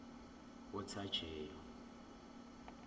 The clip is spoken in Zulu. othajeyo